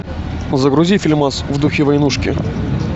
загрузи фильмас в духе войнушки